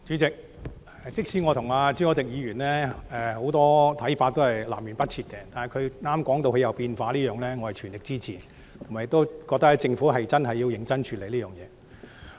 主席，即使我和朱凱廸議員的很多想法是南轅北轍，但他剛才提到他的想法有改變，我全力支持，而且認為政府真的要認真處理這件事。